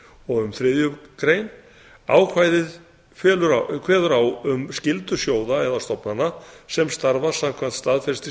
og um þriðju grein ákvæðið kveður á um skyldu sjóða eða stofnana sem starfa samkvæmt staðfestri